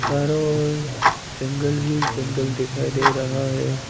चारों ओर जंगल ही जंगल दिखाई दे रहा है।